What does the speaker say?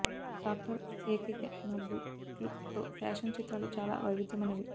tractor ఏకైక న బూట్లు తో ఫ్యాషన్ చిత్రాలు చాలా వైవిధ్యమైనవి